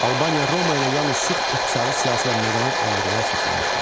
Albaniya Roma ilə yalnız sıx iqtisadi, siyasi və mədəni əlaqələr saxlamışdı.